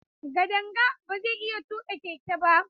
Kadanga ba zai iya tuƙa keke ba.